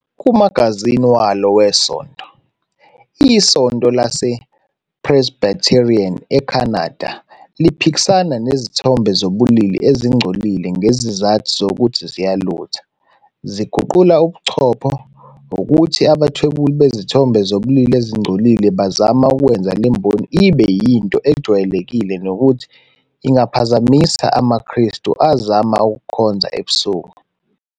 Kumagazini walo wesonto, iSonto LasePresbyterian eCanada liphikisana nezithombe zobulili ezingcolile ngesizathu sokuthi ziyalutha, ziguqula ubuchopho, ukuthi abathwebuli bezithombe zobulili ezingcolile bazama ukwenza le mboni ibe yinto ejwayelekile nokuthi ingaphazamisa amaKristu azama ukukhonza ebusuku.